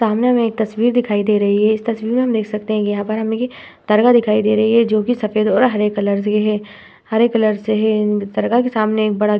सामने हमे एक तस्वीर दिखाई दे रही है इस तस्वीर में हम देख सकते है यहाँ पर हमे दरगाह दिखाई दे रही है जोकि सफ़ेद और हरे कलर से है हरे कलर से है दरगाह के सामने एक बड़ा --